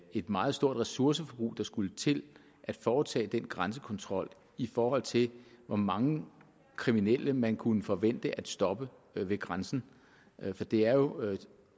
et meget stort ressourceforbrug der skulle til at foretage den grænsekontrol i forhold til hvor mange kriminelle man kunne forvente at stoppe ved grænsen for det er jo